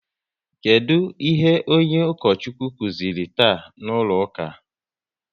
Kedụ ihe onye Ukochukwu kụziri taa n'ụlọ ụka?